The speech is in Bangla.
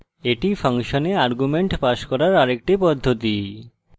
এটি ফাংশনে arguments পাস করার আরেকটি পদ্ধতি